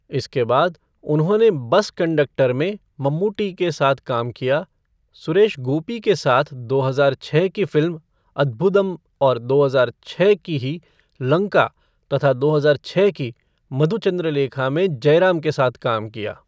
इसके बाद, उन्होंने बस कंडक्टर में मम्मुट्टी के साथ काम किया, सुरेश गोपी के साथ दो हजार छः की फिल्म अद्भुदम् और दो हजार छः की ही लंका तथा दो हजार छः की मधुचंद्रलेखा में जयराम के साथ काम किया।